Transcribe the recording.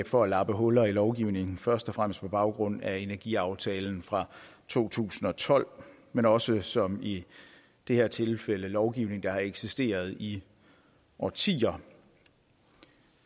for at lappe huller i lovgivningen først og fremmest på baggrund af energiaftalen fra to tusind og tolv men også som i det her tilfælde lovgivning der har eksisteret i årtier